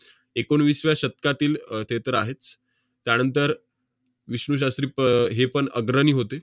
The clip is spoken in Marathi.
एकोणवीसव्या शतकातील अह ते तर आहेच. त्यानंतर विष्णू शास्त्री प~ हेपण अग्रणी होते.